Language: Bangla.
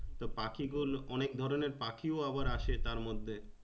তো পাখি গুলো অনেক ধরণের পাখিও আবার আসে তার মধ্যে।